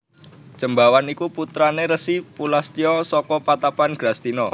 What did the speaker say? Jembawan iku putrané Resi Pulastya saka patapan Grastina